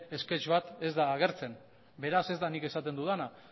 sketch bat ez da agertzen beraz ez da nik esaten dudana